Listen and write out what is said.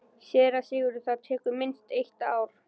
SÉRA SIGURÐUR: Það tekur minnst eitt ár.